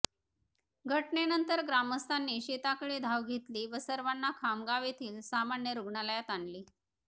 घटनेनंतर ग्रामस्थांनी शेताकडे धाव घेतली व सर्वांना खामगाव येथील सामान्य रुग्णालयात आणले